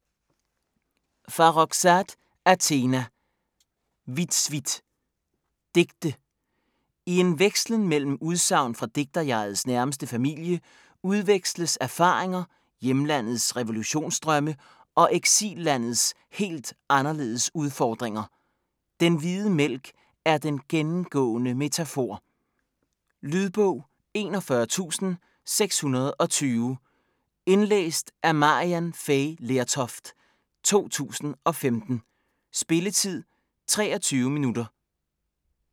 Farrokhzad, Athena: Vitsvit Digte. I en vekslen mellem udsagn fra digterjegets nærmeste familie udveksles erfaringer, hjemlandets revolutionsdrømme og eksillandets helt anderledes udfordringer. Den hvide mælk er den gennemgående metafor. Lydbog 41620 Indlæst af Maryann Fay Lertoft, 2015. Spilletid: 0 timer, 23 minutter.